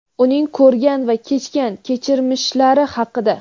uning ko‘rgan va kechgan kechirmishlari haqida.